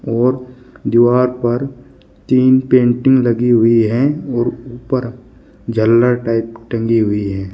और दीवार पर तीन पेंटिंग लगी हुई हैं और ऊपर झालर टाइप टंगी हुई हैं।